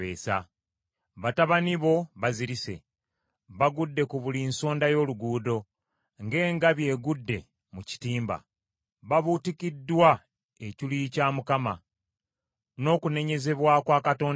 Batabani bo bazirise, bagudde ku buli nsonda y’oluguudo ng’engabi egudde mu kitimba. Babuutikiddwa ekiruyi kya Mukama , n’okunenyezebwa kwa Katonda wo.